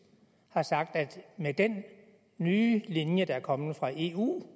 har sagt at der med den nye linje der er kommet fra eu